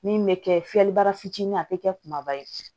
Min bɛ kɛ fiyɛlibara fitinin a bɛ kɛ kumaba ye